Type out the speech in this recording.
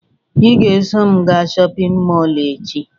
Ị ga-eso m gaa shọpịn mọọ echi